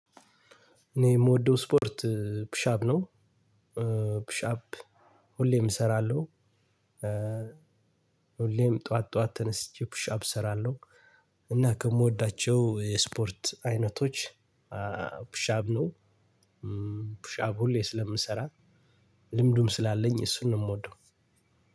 እኔ የምወደው ስፖርት ፑሽ አፕ ነው። ፑሽ አፕ ሁሌም እሰራለሁ። ሁሌም ጠዋት ጠዋት ተነስቼ ፑሻብ እሰራለሁ። እና ከምወዳቸው የስፖርት አይነቶች ፑሽ አፕ ነው ፑሽ አፕ ሁሌም ስለምንሰራ። ልምዱም ስላለኝ እሱንም የምወደው